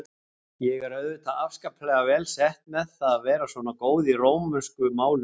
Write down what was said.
Ég er auðvitað afskaplega vel sett með það að vera svona góð í rómönsku málunum.